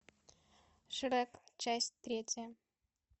шрек часть третья